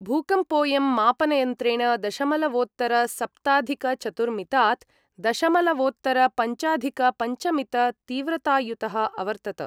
भूकम्पोयं मापनयन्त्रेण दशमलवोत्तरसप्ताधिकचतुर्मितात् दशमलवोत्तरपञ्चाधिकपञ्चमित तीव्रतायुतः अवर्तत।